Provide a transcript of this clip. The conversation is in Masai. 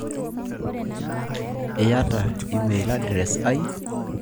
Iyata email address ai?